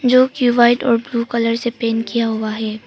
जो कि व्हाइट और ब्लू कलर से पेंट किया हुआ है।